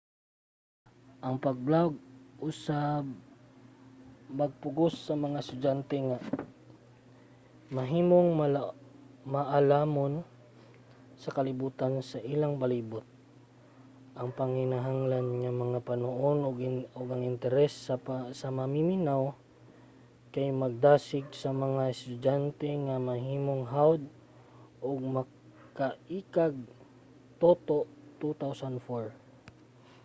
ang pag-blog usab magpugos sa mga estudyante nga mahimong maalamon sa kalibutan sa ilang palibut. ang panginahanglan nga punuon ang interes sa mamiminaw kay magdasig sa mga estudyante nga mahimong hawod ug makaiikag toto 2004